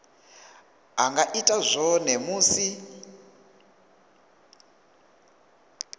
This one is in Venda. a nga ita zwone musi